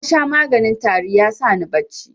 Nasha maganin tari ya sani bacci.